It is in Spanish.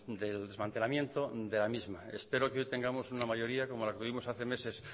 del desmantelamiento de la misma espero que hoy tengamos una mayoría como la que tuvimos hace meses